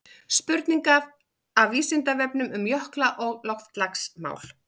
spurningar af vísindavefnum um jökla og loftslagsmál